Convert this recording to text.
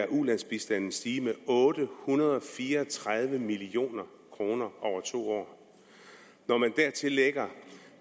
ulandsbistanden stige med otte hundrede og fire og tredive million kroner over to år når man dertil lægger